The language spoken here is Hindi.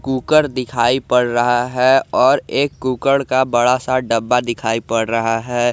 कुकर दिखाई पड़ रहा है और एक कुकर का बड़ा सा डब्बा दिखाई पड़ रहा है।